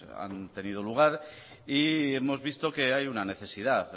han tenido lugar y hemos visto que hay una necesidad